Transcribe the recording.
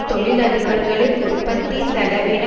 தொழிலதிபர்களின் உற்பத்தி செலவின